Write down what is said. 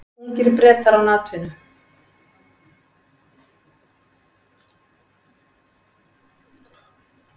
Ungir Bretar án atvinnu